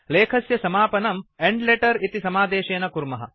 लेखस्य समापनम् end letter इति समादेशेन कुर्मः